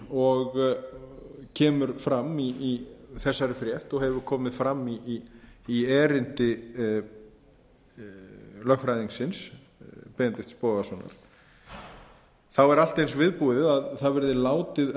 og kemur fram í þessari frétt og hefur komið fram í erindi lögfræðingsins benedikts bogasonar er allt eins viðbúið og látið verði